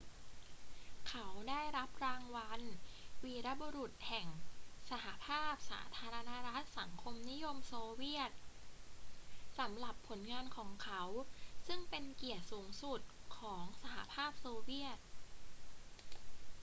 เขาได้รับรางวัล วีรบุรุษแห่งสหภาพสาธารณรัฐสังคมนิยมโซเวียต สำหรับผลงานของเขา ซึ่งเป็นเกียรติสูงสุดของสหภาพโซเวียต